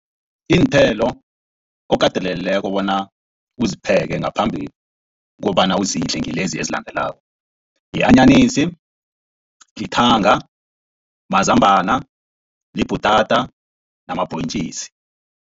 Iinthelo okateleleleko bona uzipheke ngaphambi kobana uzidle ngilezi ezilandelako, yi-anyanisi, lithanga, mazambana, libhutata namabhontjisi.